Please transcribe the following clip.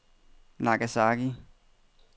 Nagasaki